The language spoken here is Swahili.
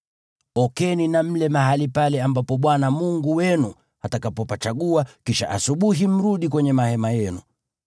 Okeni na mle mahali pale ambapo Bwana Mungu wenu atakapopachagua, kisha asubuhi mrudi kwenye mahema yenu.